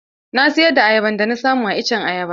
Na siyar da ayaban da na samu a iccen ayaba.